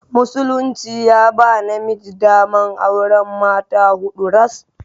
Musulunci ya ba namiji daman auran mata huɗu ras.